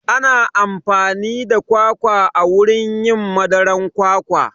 Ana amfani da kwakwa wurin yin madaran kwakwa